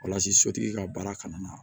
Walasa sotigi ka baara kana na